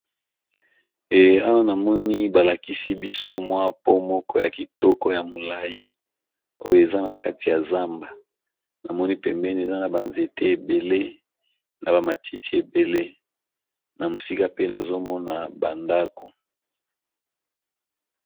E awa namoni balakisi biso mwa pon moko ya kitoko ya molai oyo eza na kati ya zamba namoni pembeni eza na banzete ebele na bamatiti ebele na mosika pe nazomona bandako.